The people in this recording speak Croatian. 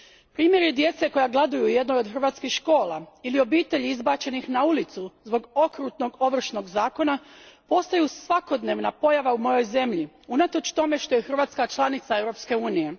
Primjeri djece koja gladuju u jednoj od hrvatskih škola ili obitelji izbačenih na ulicu zbog okrutnog Ovršnog zakona postaju svakodnevna pojava u mojoj zemlji, unatoč tome što je Hrvatska članica Europske unije.